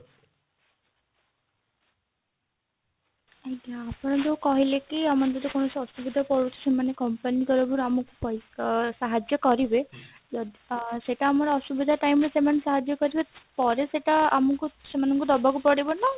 ଆଜ୍ଞା ଆପଣ ଯୋଉ କହିଲେ କି ଆର ଯଦି କୌଣସି ଅସୁବିଧା ପଡୁଛି ମାନେ company ତରଫରୁ ଆମକୁ ପଇସା ଅ ସାହାଜ୍ଯ କରିବେ ଯଦି ଅ ସେତ ଆମର ଅସୁବିଧା time ରେ ସେମାନେ ସାହାଜ୍ଯ କରିବେ ପରେ ସେଟା ଆମକୁ ସେମାନଙ୍କୁ ଦବାକୁ ପଡିବ ନା